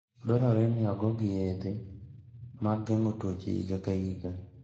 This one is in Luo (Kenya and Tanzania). Dwarore ni ogogi yedhe mag geng'o tuoche higa ka higa.